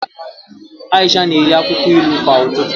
Aisha na-eri akwụkwọ ilu kwa ụtụtụ